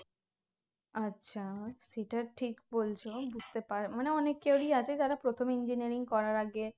আচ্ছা সেটা ঠিক বলছো বুঝতে পার মানে অনেকেরই আছে যারা প্রথমে engineering করার আগে